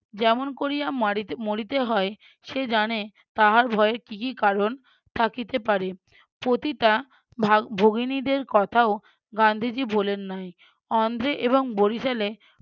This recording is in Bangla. যেমন কোরিয়া মারি মরিতে হয় সে জানে তাহার ভয়ের কী কী কারণ থাকিতে পারে পতিতা ভাগ~ ভগিনীদের কথাও গান্ধীজী ভুলেন নাই অন্ধ্রে এবং বরিশালে